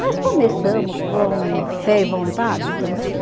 Mas começamos com fé e vontade também.